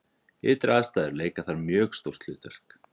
Ytri aðstæður leika þar mjög stórt hlutverk.